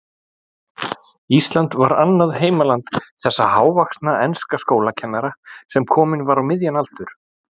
Ísland var annað heimaland þessa hávaxna enska skólakennara, sem kominn var á miðjan aldur.